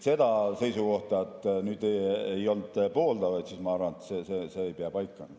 See seisukoht, et ei olnud pooldajaid, ma arvan, ei pea paika.